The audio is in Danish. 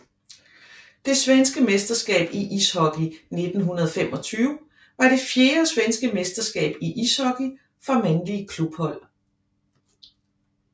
Det svenske mesterskab i ishockey 1925 var det fjerde svenske mesterskab i ishockey for mandlige klubhold